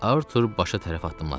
Artur başa tərəf addımladı.